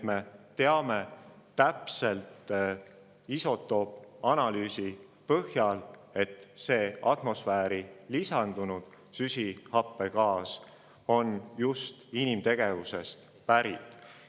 Me teame isotoopanalüüsi põhjal täpselt, et see atmosfääri lisandunud süsihappegaas on just inimtegevusest pärit.